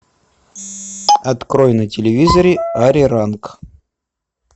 открой на телевизоре ариранг